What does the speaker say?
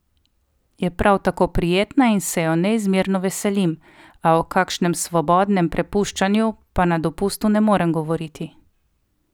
Je prav tako prijetna in se jo neizmerno veselim, a o kakšnem svobodnem prepuščanju pa na dopustu ne morem govoriti.